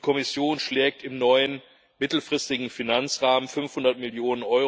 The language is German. Die Kommission schlägt im neuen mittelfristigen Finanzrahmen 500 Mio.